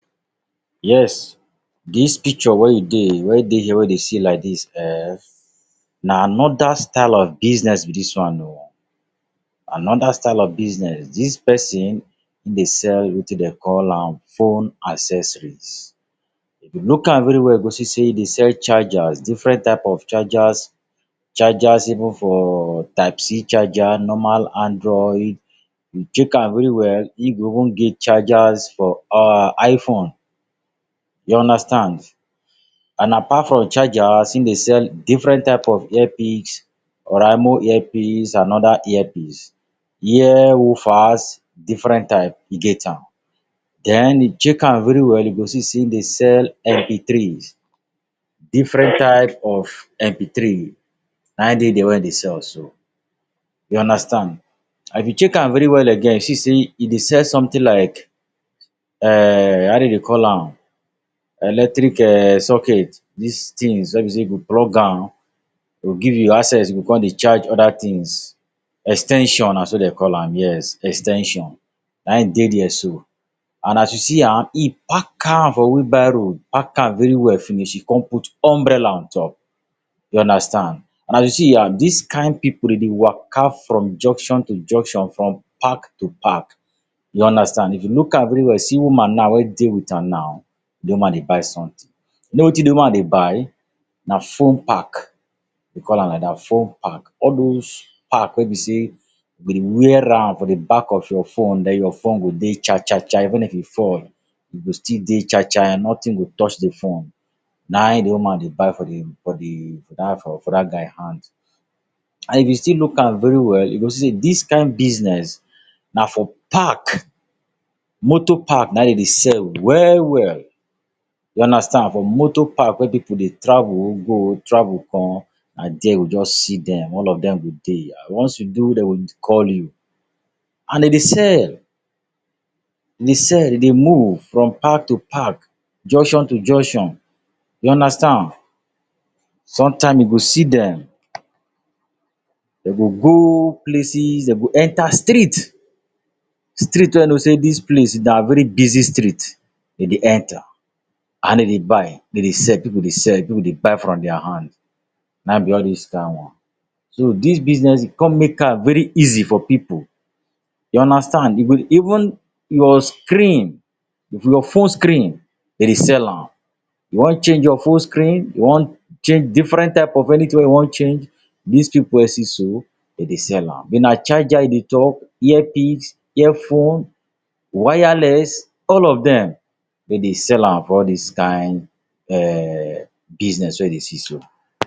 Yes, dis picture wey e dey, wey dey here, wey you dey see like dis um, na another style of business be dis one o. Another style of business. Dis person e dey sell wetin dem call am phone accessories. If you look am very well you go see sey e dey sell chargers, different type of chargers, chargers even for type C charger, normal android. You check am very well in go even get chargers for um iphone. You understand. And apart from chargers, in dey sell different type of earpiece. Oraimo earpiece and other earpiece. Ear um, different types e get am. Then you check am very well you go see sey in dey sell mp threes, different type of mp three na dey there wey e dey sell so. You understand. And if you check am very well again you see sey e dey sell something like, um how dem dey call am? Electric um socket. These things wey be sey you go plug am, e go give access you go come dey charge other things. Ex ten sion na so dem call am, yes. Ex ten sion na in dey there so. And As you see am, e pack am for wheel barrow, pack am very well finish. In come put umbrella on top. You understand. And as you see am, dis kind pipu dem dey waka from junction to junction, from park to park. You understand. If you look am very well see woman now wey dey with am now. Di woman dey buy something. You know wetin de woman dey buy? Na phone pack. Dem call am like that. Phone pack. All those pack wey be sey you go dey wear am for back of your phone, then your phone go dey sha sha sha. Even if e fall, e go still dey sha sha. Nothing go touch de phone Na de woman dey buy for de for de for that for for that guy hand. And if you still look am very well, you go see sey dis kind business na for park, motor park na dem dey sell well well. You understand. For motor park wey pipu dey travel go, travel come, na there you go just see dem. All of dem go dey. Na once you dey wey dey go call you. And den dey sell. Dem dey sell. Dem dey move from park to park, junction to junction. You understand. Some time you go see dem, dem go go places. Dem go enter street, street wey you know sey dis place na very busy street, de dey enter. And dem dey buy. Dem dey sell. Pipu dey sell. Pipu dey buy from their hand. Na in be all those kind one. So, dis business e come make am very easy for pipu. You understand. You go dey even your screen, if your phone screen dem dey sell am. You want change your phone screen, you want change different type of anything wey you want change, dis pipu wey you see so, dem dey sell am. na charger you dey talk, earpiece, ear phone, wireless, all of dem, dem dey sell am for all these kind um business wey you dey see so.